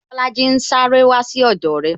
Bolaji ń sáré wá sí ọdọ re